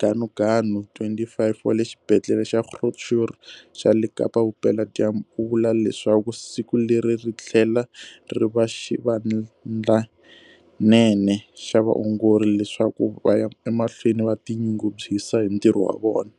Ganuganu, 25, wa le Xibedhlele xa Groote Schuur xa le Kapa-Vupeladyambu, u vula leswaku siku leri ri tlhela ri va xivandlanene xa vaongori leswaku va ya emahlweni va ti nyungubyisa hi ntirho wa vona.